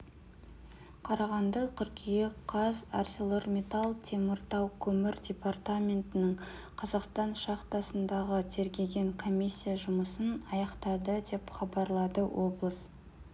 қарағанды қыркүйек қаз арселормиттал теміртау көмір департаментінің қазақстан шахтасындағы тергеген комиссия жұмысын аяқтады деп хабарлады облыс